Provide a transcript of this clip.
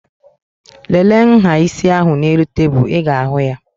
Lele nhá isi ahụ n'elu tebụl. Ị ga-ahụ ya